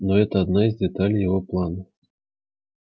но это одна из деталей его плана